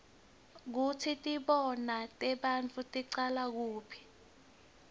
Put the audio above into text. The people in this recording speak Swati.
kutsi tibonao tebantfu ticala kuphi